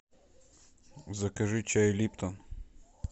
закажи чай липтон